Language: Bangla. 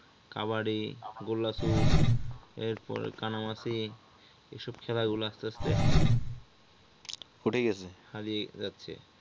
কাবাডি গোলা চুট এরপরে কানামাছি এসব খেলা গুলো আস্তে আস্তে উঠে গেছে। হারিয়ে যাচ্ছে।